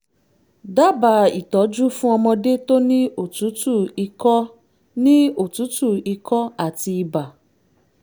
dábàá ìtọ́jú fún ọmọdé tó ní òtútù ikọ́ ní òtútù ikọ́ àti ibà